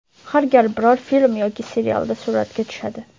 Har gal biror film yoki serialda suratga tushadi.